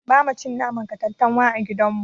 Bama cin naman katantanwa a gidan mu.